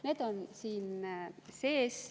Need on siin sees.